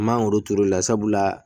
An mangoro turu la sabu la